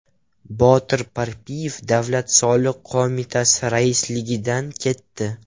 Botir Parpiyev Davlat soliq qo‘mitasi raisligidan ketdi.